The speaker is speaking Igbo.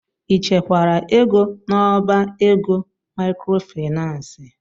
Ị chekwara ego n'ọbá ego maịkrofaịnans?